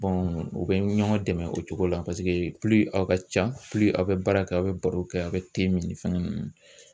u bɛ ɲɔgɔn dɛmɛn o cogo la paseke aw ka ca aw bɛ baara kɛ aw bɛ baro kɛ aw bɛ min ni fɛnkɛ ninnu.